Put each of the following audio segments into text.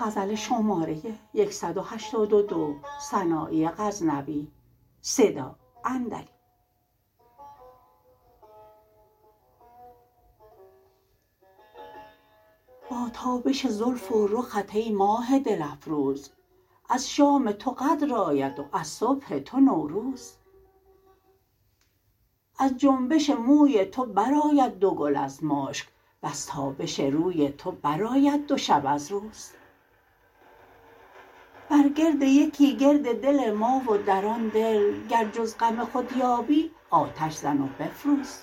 با تابش زلف و رخت ای ماه دل افروز از شام تو قدر آید و از صبح تو نوروز از جنبش موی تو برآید دو گل از مشک وز تابش روی تو برآید دو شب از روز بر گرد یکی گرد دل ما و در آن دل گر جز غم خود یابی آتش زن و بفروز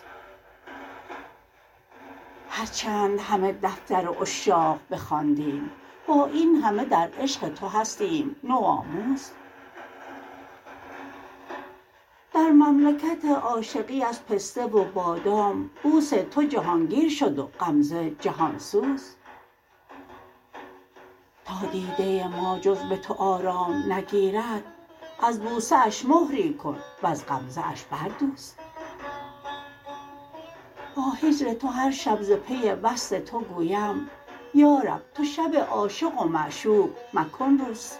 هر چند همه دفتر عشاق بخواندیم با این همه در عشق تو هستیم نوآموز در مملکت عاشقی از پسته و بادام بوس تو جهانگیر شد و غمزه جهانسوز تا دیده ما جز به تو آرام نگیرد از بوسه اش مهری کن وز غمزه اش بردوز با هجر تو هر شب ز پی وصل تو گویم یارب تو شب عاشق و معشوق مکن روز